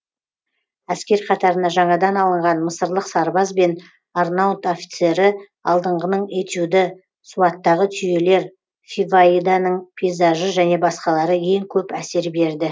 әскер қатарына жаңадан алынған мысырлық сарбаз бен арнаут офицері алдыңғының этюды суаттағы түйелер фиваиданың пейзажы және басқалары ең көп әсер берді